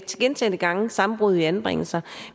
gentagne gange sammenbrud i anbringelser